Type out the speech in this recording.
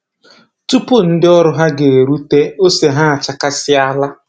Tupu ndị ọrụ ha ga-eruta, ose ha achakasịala